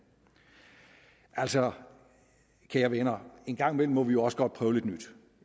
altså kære venner en gang imellem må vi jo også godt prøve lidt nyt